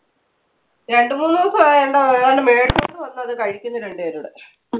രണ്ടുമൂന്ന് ദിവസം ആയി എന്താ ഏതാണ്ട് മേടിച്ചുകൊണ്ട് വന്ന് അത് കഴിക്കുന്നു രണ്ടുപേരൂടെ.